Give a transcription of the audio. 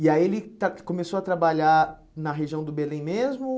E aí ele está começou a trabalhar na região do Belém mesmo?